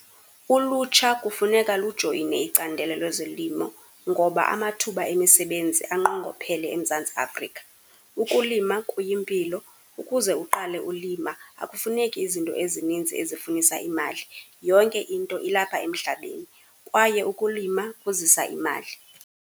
Ulutsha kufuneka lujoyine icandelo lezolimo ngoba amathuba emisebenzi anqongophele eMzantsi Afrika. Ukulima kuyimpilo, ukuze uqale ulima akufuneki izinto ezinintsi ezifunisa imali. Yonke into ilapha emhlabeni kwaye ukulima kuzisa imali.